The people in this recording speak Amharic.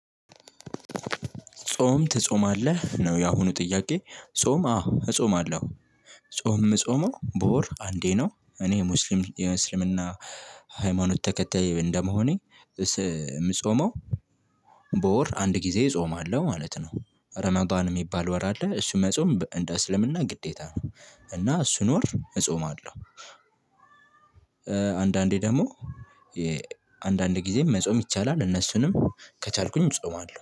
ጾም ትጾማለህ ነው ያሁኑ ጥያቄ? ጾም አዎ እጾማለሁ። ጾም የምጾመው በወር አንዴ ነው። እኔ ሙስሊም የእስልምና ሃይማኖት ተከታይ እንደመሆኔ። ምጾመው በወር አንድ ጊዜ እጾማለሁ ማለት ነው። ረመዳን የሚባል ወር አለ። እሱን መጾም እንደ እስልምና ግዴታ ነው። እና እሱን ወር እጾማለሁ። አንዳንዴ ደግሞ አንዳንድ ግዜ መጾም ይቻላል እነሱንም ከቻልኩ እጾማለሁ